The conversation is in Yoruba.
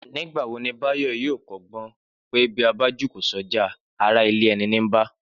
Nígbà wo ni Báyọ̀ yóò kọ́gbọ́n pé bí a bá jùkò sọ́jà, ará ilé ẹni ní ń bà?